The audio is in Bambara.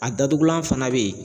A datugulan fana bɛ yen